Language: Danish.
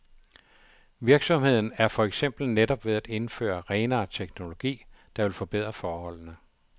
Virksomheden er for eksempel netop ved at indføre renere teknologi, der vil forbedre forholdene.